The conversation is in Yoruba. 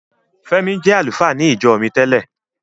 Fẹ́mi jẹ́ àlùfáà ní ìjọ mi tẹ́lẹ̀.